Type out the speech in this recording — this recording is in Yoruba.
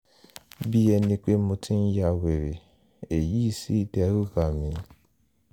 bí ẹní pé mo ti ń ya wèrè èyí sì dẹ́rù bá mí